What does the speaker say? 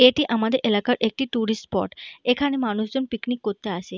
এটি আমাদের এলাকার একটি ট্যুরিস্ট স্পট । এখানে মানুষ জন পিকনিক করতে আসে।